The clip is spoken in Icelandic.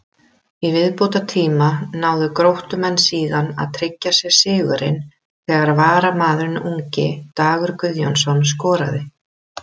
Í viðbótartíma náðu Gróttumenn síðan að tryggja sér sigurinn þegar varamaðurinn ungi Dagur Guðjónsson skoraði.